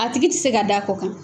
A tigi tɛ se ka d'a kɔ kan.